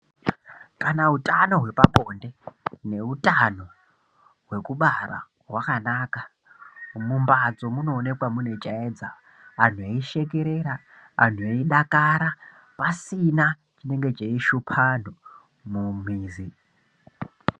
Kana utano hwepabonde neutano hwekubara hwakanaka mumbatso munoonekwa mune chaedza anhu eishekerera, anhu eidakara, pasina chinenge cheishupa antu mumizi.